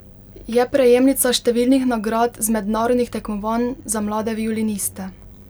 Je prejemnica številnih nagrad z mednarodnih tekmovanj za mlade violiniste.